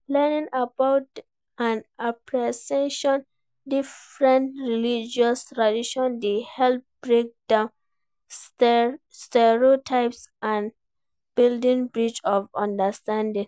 Learning about and appreciating different religious traditions dey help break down stereotypes and build bridges of understanding.